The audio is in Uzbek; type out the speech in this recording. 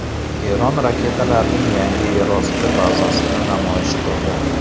Eron raketalarning yangi yerosti bazasini namoyish qildi.